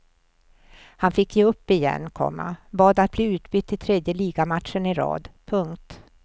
Han fick ge upp igen, komma bad att bli utbytt i tredje ligamatchen i rad. punkt